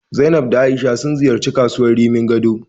Zainab da A'isha sun ziyarci kasuwar Rimin Gado.